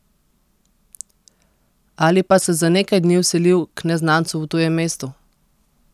Ali pa se za nekaj dni vselil k neznancu v tujem mestu?